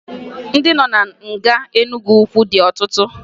Ndị nọ na nga Enugwu dị ọtụtụ